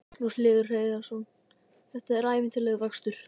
Magnús Hlynur Hreiðarsson: Þetta er ævintýralegur vöxtur?